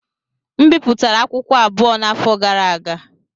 M bipụtara akwụkwọ abụọ n'afọ gara aga.